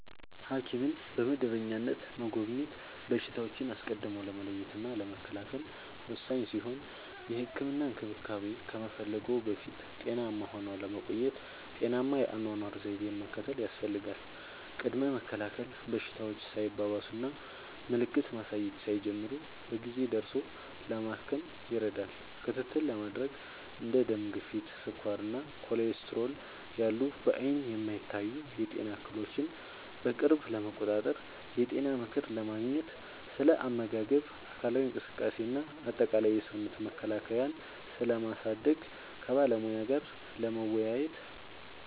ሐኪምን በመደበኛነት መጎብኘት በሽታዎችን አስቀድሞ ለመለየትና ለመከላከል ወሳኝ ሲሆን፥ የህክምና እንክብካቤ ከመፈለግዎ በፊት ጤናማ ሆነው ለመቆየት ጤናማ የአኗኗር ዘይቤን መከተል ያስፈልጋል። ቅድመ መከላከል፦ በሽታዎች ሳይባባሱና ምልክት ማሳየት ሳይጀምሩ በጊዜ ደርሶ ለማከም ይረዳል። ክትትል ለማድረግ፦ እንደ ደም ግፊት፣ ስኳር እና ኮሌስትሮል ያሉ በዓይን የማይታዩ የጤና እክሎችን በቅርብ ለመቆጣጠር። የጤና ምክር ለማግኘት፦ ስለ አመጋገብ፣ አካላዊ እንቅስቃሴ እና አጠቃላይ የሰውነት መከላከያን ስለማሳደግ ከባለሙያ ጋር ለመወያየት።